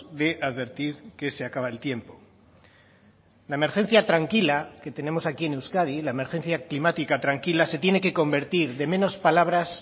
de advertir que se acaba el tiempo la emergencia tranquila que tenemos aquí en euskadi la emergencia climática tranquila se tiene que convertir de menos palabras